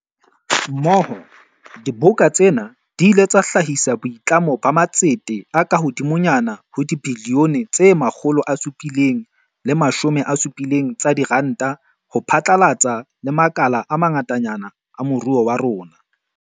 Mmoho, diboka tsena di ile tsa hlahisa boitlamo ba matsete a kahodimonyana ho dibilione tse 770 tsa diranta ho phatlalla le makala a ma ngatanyana a moruo wa rona.